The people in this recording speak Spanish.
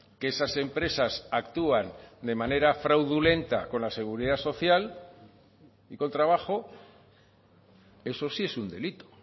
que esas empresas actúan de manera fraudulenta con la seguridad social y con trabajo eso sí es un delito